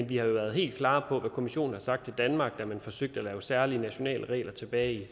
vi har jo været helt klare på hvad kommissionen har sagt til danmark da man forsøgte at lave særlige nationale regler tilbage i